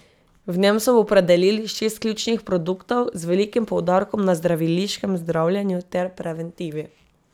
V njem so opredelili šest ključnih produktov, z velikim poudarkom na zdraviliškem zdravljenju ter preventivi.